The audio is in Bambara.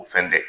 O fɛn tɛ